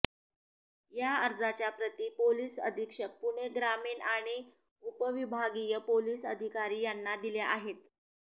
या अर्जाच्या प्रती पोलीस अधीक्षक पुणे ग्रामीण आणि उप विभागीय पोलीस अधिकारी यांना दिल्या आहेत